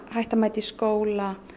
hætta að mæta í skóla